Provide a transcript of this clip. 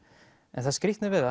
en það skrýtna við